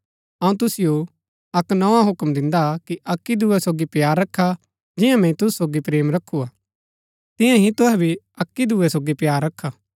अऊँ तुसिओ अक्क नोआ हूक्म दिन्दा कि अक्की दूये सोगी प्‍यार रखा जियां मैंई तूसु सोगी प्रेम रखू हा तियां ही तूहै भी अक्की दूये सोगी प्‍यार रखा